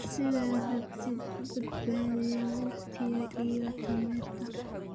sidaas darteed u badbaadiya waqtiga iyo tamarta.